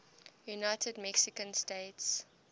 united mexican states